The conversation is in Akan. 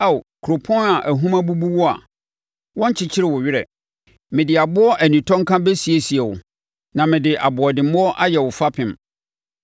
“Ao, kuropɔn a ahum abubu wo na wɔnkyekyee wo werɛ, mede aboɔ anintɔnka bɛsiesie wo, na mede aboɔdemmoɔ ayɛ wo fapem.